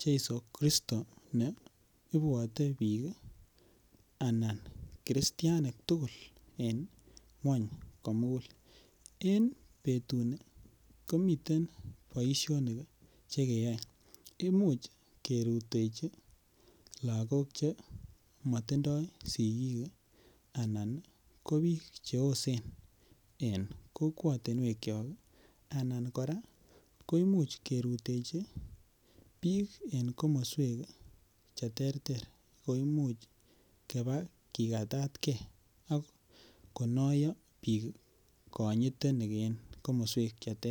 cheiso kristo ne ipwote piik anan christian tugul eng' ng'wany komugul en petuni komiten boisionik cheimuch kerutechi lagok che matindoy sigik, anan ko piik che osen en kokwanigetyok, anan koraa kemuch kerutechi piik eng' komoswek cheterter koimuch kepaa kikatatkei akonayo piik konyiten en komoswek cheterter.